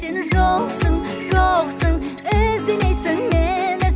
сен жоқсың жоқсың іздемейсің мені